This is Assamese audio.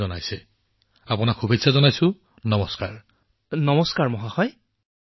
হয় হয়